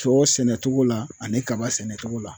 Sɔ sɛnɛtogo la ani kaba sɛnɛtogo la